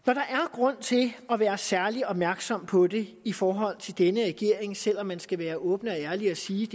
grund til at være særlig opmærksom på det i forhold til denne regering selv om man skal være åben og ærlig og sige